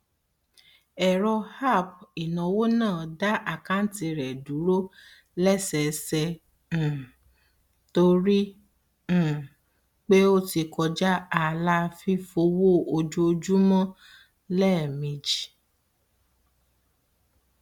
ẹrọ app ináwó náà dá àkántì rẹ dúró lẹsẹẹsẹ um torí um pé ó ti kọja ààlà fífowó ojoojúmọ lẹẹmejì